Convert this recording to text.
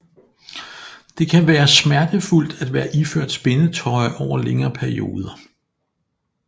Det kan være smertefuldt at være iført spændetrøje over længere perioder